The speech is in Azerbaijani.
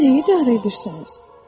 Siz nəyi idarə edirsiniz?